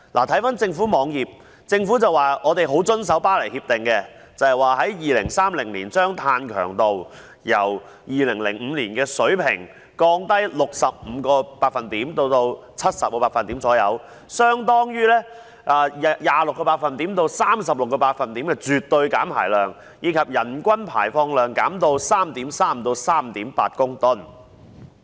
根據政府網頁，香港將遵守《巴黎協定》，在2030年把碳強度由2005年的水平降低 65% 至 70%， 相當於 26% 至 36% 的絕對減排量，以及將人均排放量減至 3.3 至 3.8 公噸。